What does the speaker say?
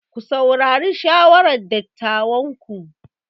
Ku saurari shawarar dattawanku.